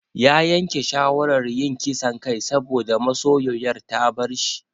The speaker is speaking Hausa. Ya yanke shawarar yin ƙisan kai saboda masoyoyar ta bar sa.